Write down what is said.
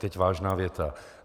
Teď vážná věta.